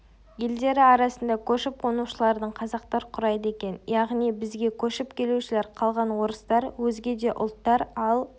елдері арасында көшіп-қонушылардың қазақтар құрайды екен яғни бізге көшіп келушілер қалған орыстар өзге де ұлттар ал